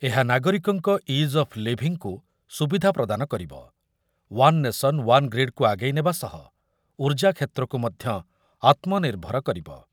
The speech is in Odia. ଏହା ନାଗରିକଙ୍କ ଇଜ୍ ଅଫ୍ ଅଫ୍ ଲିଭିଂକୁ ସୁବିଧା ପ୍ରଦାନ କରିବ, ଓ୍ୱାନ ନେସନ, ୱାନ ଗ୍ରୀଡ଼ କୁ ଆ ଆଗେଇ ନେବା ସହ ଉର୍ଜା କ୍ଷେତ୍ରକୁ ମଧ୍ୟ ଆତ୍ମନିର୍ଭର କରିବ।